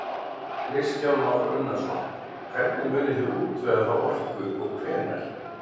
Kristján Már Unnarsson: Hvernig munið þið útvega þá orku og hvenær?